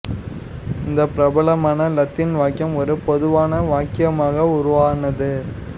இந்த பிரபலமான லத்தீன் வாக்கியம் ஒரு பொதுவான வாக்கியமாக உருவானது